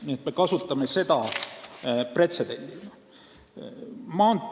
Nii et me kasutame seda pretsedendina.